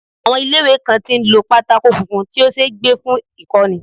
Àwọn ilé ìwé kan tí ń lo pátákó funfun tí ó ṣeé gbé fún ìkọ́ni.